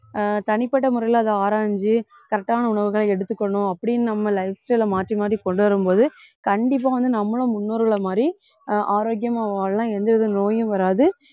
ஆஹ் தனிப்பட்ட முறையில அதை ஆராய்ஞ்சு correct ஆன உணவுகளை எடுத்துக்கணும் அப்படின்னு நம்ம lifestyle ல மாத்தி மாத்தி கொண்டு வரும் போது கண்டிப்பா வந்து நம்மளும் முன்னோர்களை மாதிரி ஆஹ் ஆரோக்கியமா வாழலாம் எந்த வித நோயும் வராது